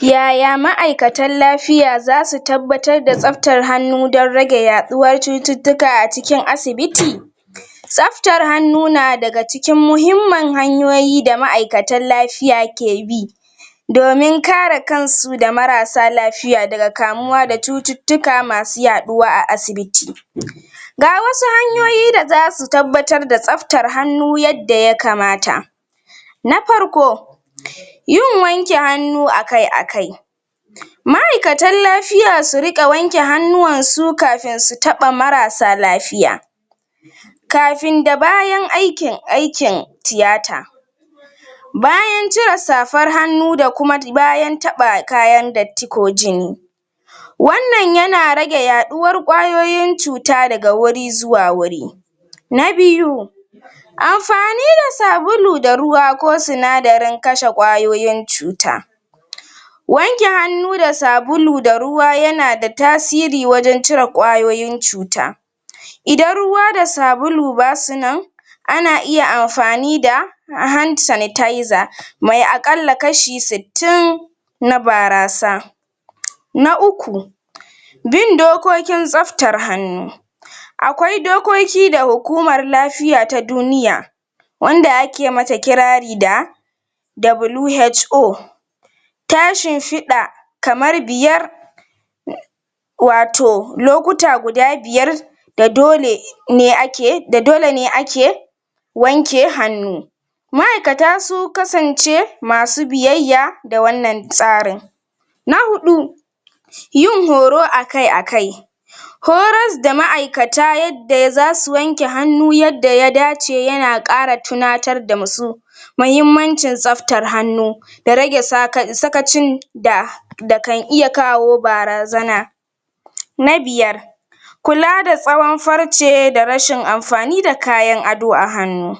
Yaya ma'aikatan lafiya zasu tabbatar da tsaftar hannu don rage yaɗuwar cututtuka ga wasu hanyoyi da zasu tabbatar da tsaftar hannu yadda ya kamata na parko yin wanke hannu a kai a kai ma'aikatan lafiya su riƙa wanke hannuwan su kafin su taɓa marasa lapiya kafin da bayan aikin aikin tiyata bayan cire safar hannu da kuma bayan taɓa kayan datti ko jini wannan yana rage yaɗuwar ƙwayoyin cuta da wuri zuwa wuri na biyu amfani da sabulu da ruwa ko sinadarin kashe ƙwayoyin cuta wanke hannu da sabulu da ruwa yana da tasiri wajen cire ƙwayoyin cuta idan ruwa da sabulu basu nan ana iya amfani da Mai a ƙalla kashi sittin na barasa na uku bin dokokin tsaftar hannu akwai dokoki da hukumar lafiya ta duniya wanda ake mata kirari da WHO ta shimfiɗa kamar biyar wato lokuta guda biyar da dole ne ake da dole ne ake wanke hannu ma'aikata su kasance masu biyayya da wannan tsarin na huɗu yin horo a kai a kai horas da ma'aikata yadda zasu wanke hannu yadda ya dace yana ƙara tunatar da ma su mahimmancin tsaftar hannu da rage sata sakacin da da kan iya kawo barazana na biyar kula da tsawon farce da rashin amfani da kayan ado a hannu